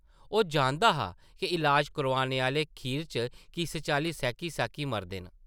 ओह् जानदा हा इलाज करोआने आह्ले खीर च किस चाल्ली सैह्की-सैह्की मरदे न ।